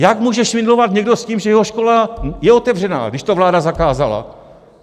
Jak může švindlovat někdo s tím, že jeho škola je otevřená, když to vláda zakázala?